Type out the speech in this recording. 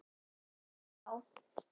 En þá!